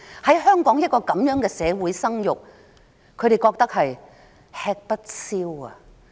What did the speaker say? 在香港這樣的社會生育，他們覺得吃不消。